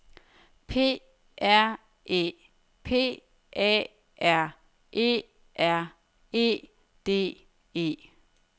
P R Æ P A R E R E D E